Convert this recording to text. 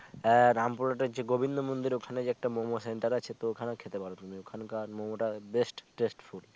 এর রামপুরা আছে গবিন্দ মন্দির ওখানে ওখানে একটা মোমো center আছে তো ওখানে খেতে পারো তুমি ওখানকার মোমো বেশ test full